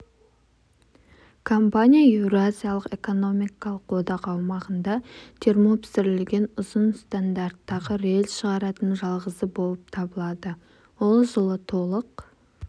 компания еуразиялық экономикалық одақ аумағында термопісірілген ұзын стандарттағы рельс шығаратын жалғызы болып табылады ол жылы толық